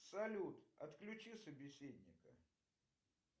салют отключи собеседника